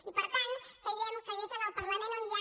i per tant creiem que és al parlament on hi ha